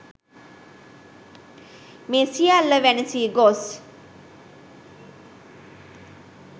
මේ සියල්ල වැනසී ගොස්